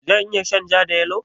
Zan iya shan ja da yalo?